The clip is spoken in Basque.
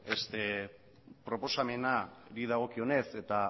proposamenari dagokionez eta